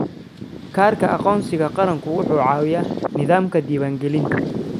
Kaarka aqoonsiga qaranku wuxuu caawiyaa nidaamka diiwaangelinta.